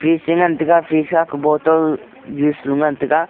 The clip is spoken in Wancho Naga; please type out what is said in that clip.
chengan tega sisha ku bottle juice lo ngan tega.